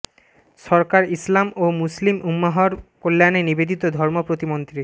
সরকার ইসলাম ও মুসলিম উম্মাহর কল্যাণে নিবেদিত ধর্ম প্রতিমন্ত্রী